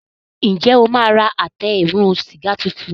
Njé o ma rà Àtẹ eérún sìgá títún?